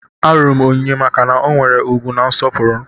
Alụrụ m Onyinye maka na ọ nwere ugwu na nsọpụrụ.